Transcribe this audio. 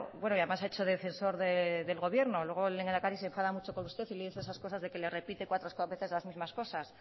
bueno y además ha hecho de defensor del gobierno luego el lehendakari se enfada mucho con usted y le dice esas cosas de que le repite cuatro veces las mismas cosas